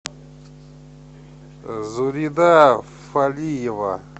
зурида фалиева